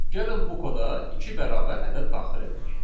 Gəlin bu koda iki bərabər ədəd daxil edək.